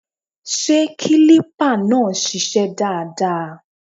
Ṣé kílípà náà ń ṣiṣẹ́ dáadáa?